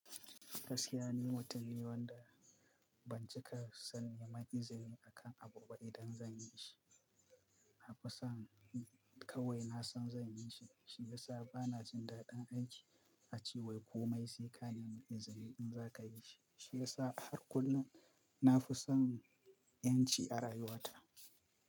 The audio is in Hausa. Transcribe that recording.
Gaskiya ni mutum ne wanda ban cika son neman izini akan abu ba idan zan yi shi. Na fi son kawai nasan zan yi shi, shi ya sa bana jin daɗin aiki ace wai komai sai ka nemi izini in za ka yi shi. Shi ya sa har kullum na fi son 'yanci a rayuwata.